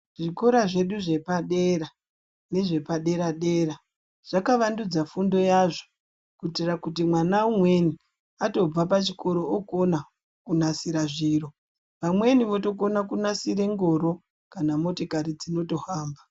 Zvikora zvedu zvepadera nezvepadera dera zvakavandudza fundo yazvo kuitira kuti mwana umweni, atobva pachikoro okona kunasira zviro. Vamweni votokona kunasira ngoro kana motikari dzinotohamba.